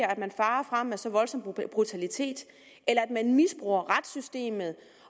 at man farer frem med så voldsom brutalitet eller at man misbruger retssystemet